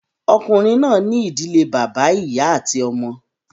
Ọkùnrin náà ní ìdílé bàbá, ìyá àti àwọn ọmọ